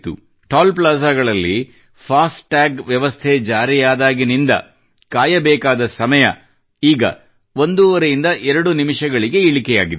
ಈಗ ಟೋಲ್ ಪ್ಲಾಜಾಗಳಲ್ಲಿ FASTag ಜಾರಿಯಾದಾಗಿನಿಂದ ಕಾಯಬೇಕಾದ ಸಮಯ ಈಗ ಎರಡೂವರೆ ನಿಮಿಷಗಳಿಗೆ ಇಳಿಕೆಯಾಗಿದೆ